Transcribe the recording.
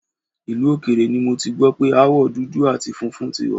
Ìlú òkèèrè ni mo ti gbọ́ pé aáwọ̀ dudu àti funfun tí wà